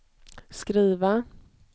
skriva